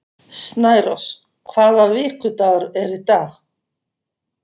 Snærós, hvaða vikudagur er í dag?